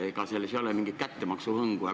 Ega selles ei ole mingit kättemaksu hõngu?